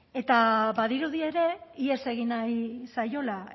eta badirudi ere ihes egin nahi zaiola